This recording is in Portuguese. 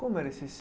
Como era esse